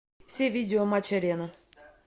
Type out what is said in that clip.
все видео матч арена